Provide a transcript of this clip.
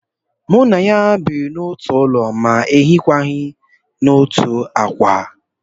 Mụ na ya biri n'otu ụlọ ma hiekwa n'otu ákwà